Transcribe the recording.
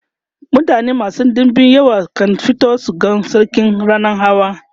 mutane masu ɗinbin yawa kan fito su ga sarki rannan hawa